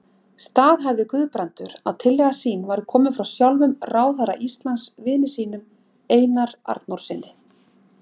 Staðhæfði Guðbrandur, að tillaga sín væri komin frá sjálfum ráðherra Íslands, vini sínum, Einar Arnórssyni.